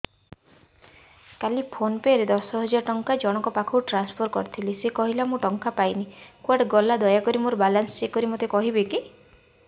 କାଲି PhonePe ରେ ଦଶ ହଜାର ଟଙ୍କା ଜଣକ ପାଖକୁ ଟ୍ରାନ୍ସଫର୍ କରିଥିଲି ସେ କହିଲା ମୁଁ ଟଙ୍କା ପାଇନି କୁଆଡେ ଗଲା ଦୟାକରି ମୋର ବାଲାନ୍ସ ଚେକ୍ କରି ମୋତେ କହିବେ କି